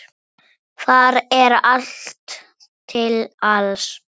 Þar er allt til alls.